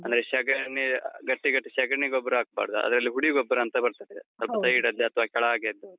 ಅಂದ್ರೆ ಸಗಣಿ ಗಟ್ಟಿ ಗಟ್ಟಿ ಸಗಣಿ ಗೊಬ್ಬರ ಹಾಕ್ಬಾರ್ದು. ಅದ್ರಲ್ಲಿ ಹುಡಿ ಗೊಬ್ಬರಾಂತ ಬರ್ತದೆ. side ಲ್ಲಿ ಅಥವಾ ಕೆಳಾಗೆಯದ್ದು.